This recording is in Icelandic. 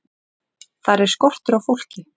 Þar er skortur á fólki.